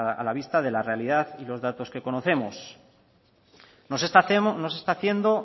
a la vista de la realidad y los datos que conocemos no se está haciendo